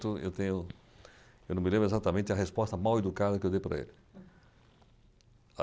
eu tenho, eu não me lembro exatamente a resposta mal educada que eu dei para ele.